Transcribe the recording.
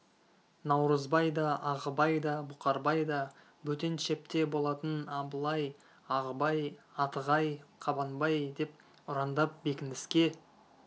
наурызбай да ағыбай да бұқарбай да бөтен шепте болатын абылай ағыбай атығай қабанбай деп ұрандап бекініске